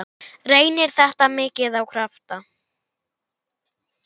Reynir þetta mikið á krafta?